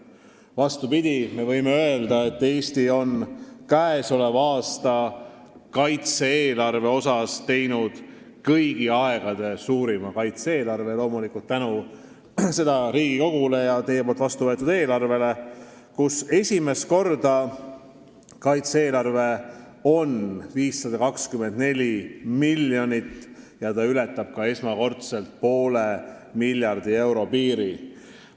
Vastupidi, me võime öelda, et Eesti käesoleva aasta kaitse-eelarve on kõigi aegade suurim – loomulikult tänu Riigikogule ja teie vastu võetud riigieelarvele –, esimest korda on see 524 miljonit ja ületab esmakordselt poole miljardi euro piiri.